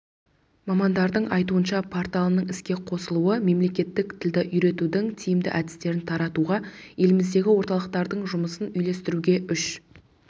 мамандардың айтуынша порталының іске қосылуы мемлекеттік тілді үйретудің тиімді әдістерін таратуға еліміздегі орталықтардың жұмысын үйлестіруге үш